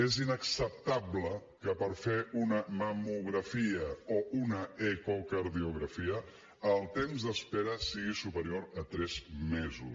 és inacceptable que per fer una mamografia o una ecocardiografia el temps d’espera sigui superior a tres mesos